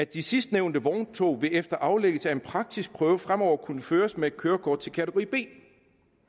de sidstnævnte vogntog vil efter aflæggelse af en praktisk prøve fremover kunne føres med et kørekort til kategori b